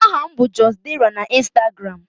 Aha m bụ just_dera na Ịnstagramụ